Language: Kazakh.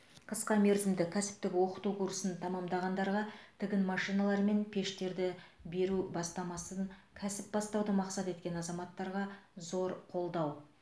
қысқа мерзімді кәсіптік оқыту курсын тәмамдағандарға тігін машиналары мен пештерді бері бастамасы кәсіп бастауды мақсат еткен азаматтарға зор қолдау